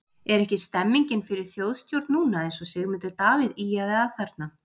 Er ekki stemmingin fyrir þjóðstjórn núna eins og Sigmundur Davíð ýjaði að þarna?